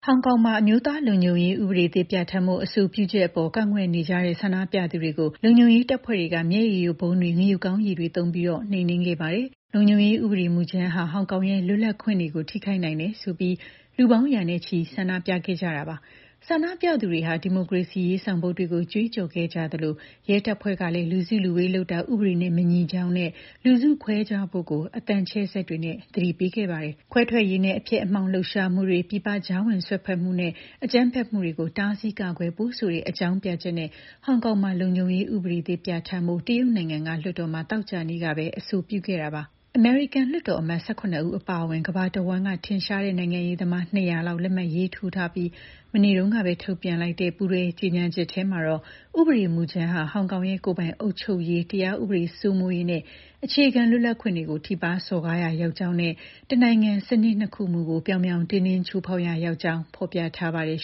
ဟောင်ကောင်မှာ အမျိုးသားလုံခြုံရေး ဥပဒေသစ် ပြဋ္ဌာန်းဖို့ အဆိုပြုချက်အပေါ် ကန့်ကွက်နေကြတဲ့ ဆန္ဒပြသူတွေကို လုံခြုံရေးတပ်ဖွဲ့တွေက မျက်ရည်ယိုဗုံးတွေ၊ ငရုတ်ကောင်းရည်တွေသုံးပြီး နှိမ်နင်းခဲ့ပါတယ်။ လုံခြုံရေးဥပဒေမူကြမ်းဟာ ဟောင်ကောင်ရဲ့ လွတ်လပ်ခွင့်တွေကို ထိခိုက်နိုင်တယ်ဆိုပြီး လူပေါင်းရာနဲ့ချီ ဆန္ဒပြခဲ့ကြတာပါ။ ဆန္ဒပြသူတွေဟာ ဒီမိုကရေစီရေး ဆောင်ပုဒ်တွေကို ကြွေးကြော်ခဲ့ကြသလို ရဲတပ်ဖွဲ့ကလည်း လူစုလူဝေးလုပ်တာ ဥပဒေနဲ့ မညီကြောင်းနဲ့ လူစုခွဲကြဖို့ အသံချဲ့စက်တွေနဲ့ သတိပေးခဲ့ပါတယ်။ ခွဲထွက်ရေးနဲ့ အဖျက်အမှောင့် လှုပ်ရှားမှုတွေ၊ ပြည်ပကြားဝင်စွက်ဖက်မှုနဲ့ အကြမ်းဖက်မှုတွေကို တားဆီးကာကွယ်ဖို့ဆိုတဲ့ အကြောင်းပြချက်နဲ့ ဟောင်ကောင်မှာ လုံခြုံရေးဥပဒေသစ် ပြဋ္ဌာန်းဖို့ တရုတ်နိုင်ငံက လွှတ်တော်မှာ သောကြာနေ့ကပဲ အဆိုပြုခဲ့တာပါ။ အမေရိကန် လွှတ်တော်အမတ် ၁၇ ဦး အပါအဝင် ကမ္ဘာတဝန်းက ထင်ရှားတဲ့ နိုင်ငံရေးသမား ၂၀၀ လောက် လက်မှတ်ရေးထိုးထားပြီး မနေ့တုန်းကပဲ ထုတ်ပြန်လိုက်တဲ့ ပူးတွဲကြေညာချက်ထဲမှာတော့ ဥပဒေမူကြမ်းဟာ ဟောင်ကောင်ရဲ့ ကိုယ်ပိုင်အုပ်ချုပ်ရေး၊ တရားဥပဒေစိုးမိုးရေးနဲ့ အခြေခံလွတ်လပ်ခွင့်တွေကို ထိပါးစော်ကားရာ ရောက်ကြောင်းနဲ့ တနိုင်ငံ စနစ်နှစ်ခုမူကို ပြောင်ပြောင်တင်းတင်း ချိုးဖောက်ရာရောက်ကြောင်း ဖော်ပြထားပါတယ်